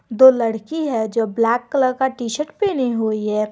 दो लड़की है जो ब्लैक कलर का टी शर्ट पहने हुई है।